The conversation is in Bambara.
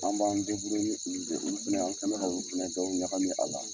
An b'an olu de ye olu fana an kɛ bɛ ka olu fana dɔw ɲagami a la.